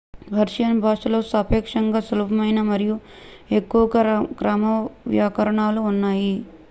Persian భాషలో సాపేక్షంగా సులభమైన మరియు ఎక్కువగా క్రమవ్యాకరణాలు ఉన్నాయి